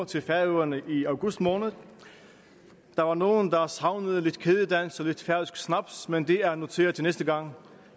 til færøerne i august måned der var nogle der savnede lidt kædedans og lidt færøsk snaps men det er noteret til næste gang